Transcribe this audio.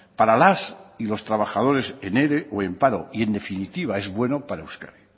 para las y los trabajadores en ere o en paro y en definitiva es bueno para euskadi